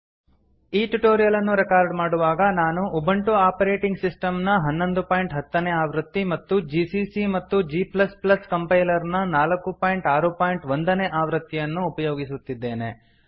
ಈ ಟ್ಯುಟೋರಿಯಲ್ ಅನ್ನು ರೆಕಾರ್ಡ್ ಮಾಡುವಾಗ ನಾನು ಉಬುಂಟು ಆಪರೇಟಿಂಗ್ ಸಿಸ್ಟಮ್ ನ 1110 ನೇ ಆವೃತ್ತಿ ಮತ್ತು ಜಿಸಿಸಿ ಮತ್ತು g ಕಂಪೈಲರ್ ನ 461 ನೇ ಆವೃತ್ತಿಯನ್ನು ಅನ್ನು ಉಪಯೋಗಿಸಿದ್ದೇನೆ